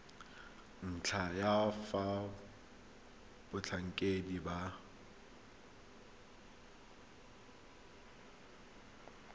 ntlha ya fa batlhankedi ba